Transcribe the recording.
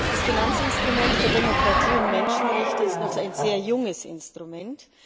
Das Finanzinstrument für Demokratie und Menschenrechte ist noch ein sehr junges Instrument.